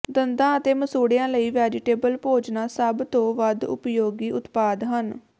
ਦੰਦਾਂ ਅਤੇ ਮਸੂੜਿਆਂ ਲਈ ਵੈਜੀਟੇਬਲ ਭੋਜਨਾਂ ਸਭ ਤੋਂ ਵੱਧ ਉਪਯੋਗੀ ਉਤਪਾਦ ਹਨ